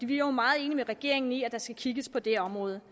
vi er jo meget enige med regeringen i at der skal kigges på det område